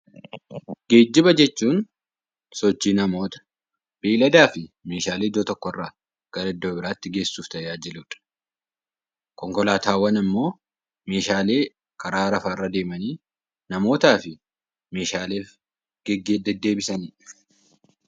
Geejjiba jechuun sochii namoonni beeyladaa fi meeshaalee iddoo tokkorraa gara iddoo biraatti geessuuf tajaajiludha. Konkolaataawwan immoo meeshaalee lafarra deemanii namootaa fi meeshaalee deddeebisanidha.